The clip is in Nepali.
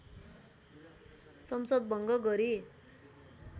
संसद भङ्ग गरी